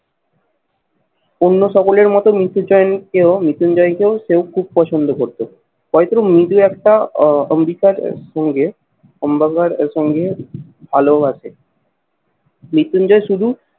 অন্য সকলের মতো মৃত্যুঞ্জয় কেউ, মৃত্যুঞ্জয় কেউ খুব পছন্দ করতো। হয়তো মৃদু একটা আহ অম্বিকার সঙ্গে ভালোও আছে। মৃত্যুঞ্জয় শুধু